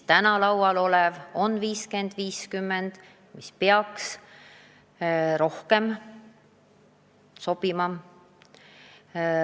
Täna on laual skeem 50 : 50, mis peaks rohkem sobima.